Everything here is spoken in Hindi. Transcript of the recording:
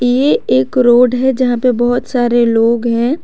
ये एक रोड है जहां पे बहुत सारे लोग ह।